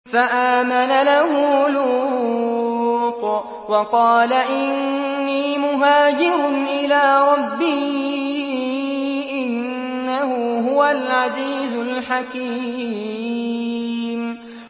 ۞ فَآمَنَ لَهُ لُوطٌ ۘ وَقَالَ إِنِّي مُهَاجِرٌ إِلَىٰ رَبِّي ۖ إِنَّهُ هُوَ الْعَزِيزُ الْحَكِيمُ